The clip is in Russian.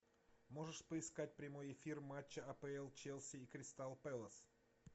можешь поискать прямой эфир матча апл челси и кристал пэлас